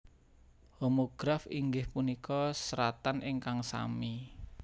Homograf inggih punika seratan ingkang sami